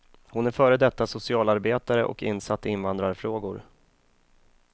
Hon är före detta socialarbetare och insatt i invandrarfrågor.